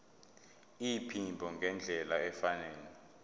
iphimbo ngendlela efanele